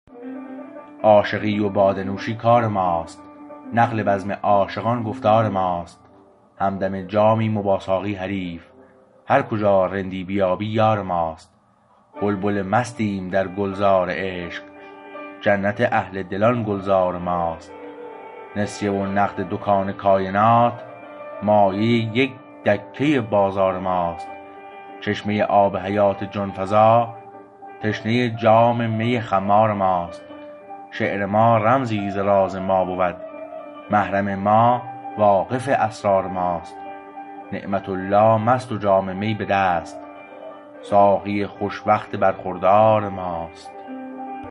عاشقی و باده نوشی کار ماست نقل بزم عاشقان گفتار ماست همدم جامیم و با ساقی حریف هر کجا رندی بیابی یار ماست بلبل مستیم در گلزار عشق جنت اهل دلان گلزار ماست نسیه و نقد دکان کاینات مایه یک دکه بازار ماست چشمه آب حیات جان فزا تشنه جام می خمار ماست شعر ما رمزی ز راز ما بود محرم ما واقف اسرار ماست نعمت الله مست و جام می به دست ساقی خوش وقت برخوردار ماست